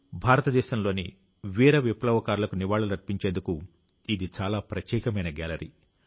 భారతదేశంలోని వీర విప్లవకారులకు నివాళులర్పించేందుకు ఇది చాలా ప్రత్యేకమైన గ్యాలరీ